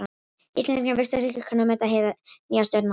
Íslendingar virtust ekki kunna að meta hið nýja stjórnarfar.